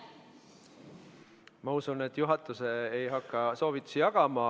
Ma usun, et juhatus ei hakka soovitusi jagama.